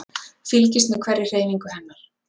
Fylgist með hverri hreyfingu hennar.